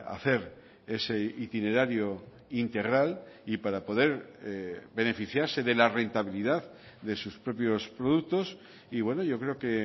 hacer ese itinerario integral y para poder beneficiarse de la rentabilidad de sus propios productos y bueno yo creo que